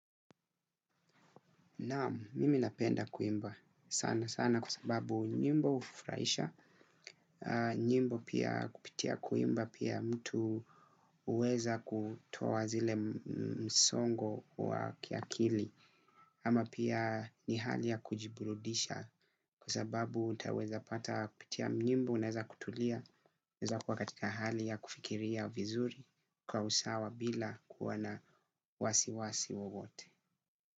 Nam, mimi napenda kuimba sana sana kwa sababu nyimbo hufuraisha, nyimbo pia kupitia kuimba pia mtu huweza kutoa zile msongo wa kiakili ama pia ni hali ya kujiburudisha kwa sababu nitaweza pata kupitia nyimbo naeza kutulia, naeza kuwa katika hali ya kufikiria vizuri kwa usawa bila kuwa na wasiwasi wowote.